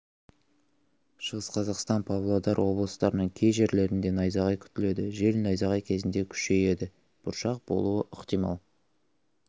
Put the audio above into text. шығыс қазақстан павлодар облыстарының кей жерлерінде найзағай күтіледі жел найзағай кезінде күшейеді бұршақ болуы ықтимал